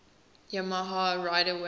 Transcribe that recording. yamaha rider wayne